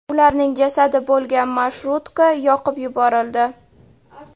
Ularning jasadi bo‘lgan marshrutka yoqib yuborildi .